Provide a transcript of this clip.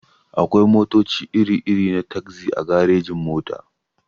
Akwai motaci iri-iri na tagzi a garejin-mota.